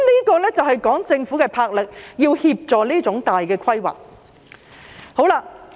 這就是政府的魄力，要協助這種大型的規劃。